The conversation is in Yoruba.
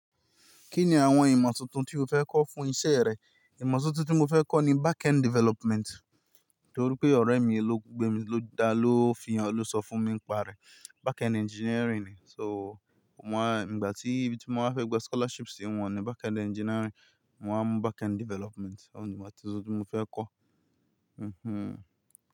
Kí ni àwọn ìmọ̀ tuntun tí o fẹ́ kọ́ fún iṣẹ́ rẹ? Ìmọ̀ tuntun tí mo fẹ́ kọ́ ni backend development, torí pé ọ̀rẹ́ mi, ló gbémi ló fi hàn ló sọ fún mi pa rẹ̀. Backend engineering ni. So, mo wá, ìgbà tí bí mo fẹ́ gba scholarship sí wọn ni backend engineering, mo wá mú backend development. Òhun ni ìgbà tí mo sọ pé fẹ́ kọ́. Mhmm.